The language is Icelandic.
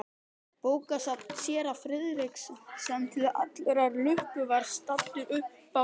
Bókasafn séra Friðriks, sem til allrar lukku var staddur uppá